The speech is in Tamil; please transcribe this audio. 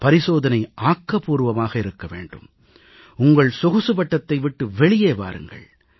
பரிசோதனை ஆக்கப்பூர்வமாக இருக்க வேண்டும் உங்கள் சொகுசு வட்டத்தை விட்டு வெளியே வாருங்கள்